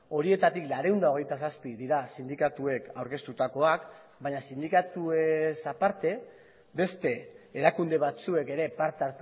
horietatik laurehun eta hogeita zazpi dira sindikatuek aurkeztutakoak baina sindikatuez aparte beste erakunde batzuek ere parte